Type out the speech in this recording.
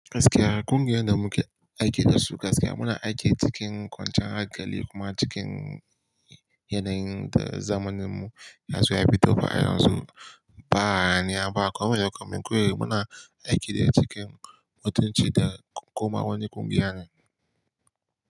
Gaskiya, ƙungiyar da muke aiki da su gaskiya muna aiki cikin kwanciyar hankali kuma cikin yanayin zamaninmu, masu yabi da fa'i, masu ba haniya ba, kuma lokacin koyi muna aiki ne cikin mutunci da kuma wani ƙungiya ne.